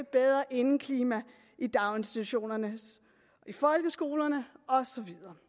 bedre indeklima i daginstitutionerne folkeskolerne og så videre